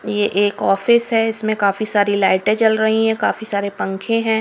ये एक ऑफिस है इसमें काफी सारी लाइटें जल रही है काफी सारे पंखे हैं।